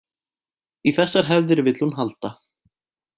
Í þessar hefðir vill hún halda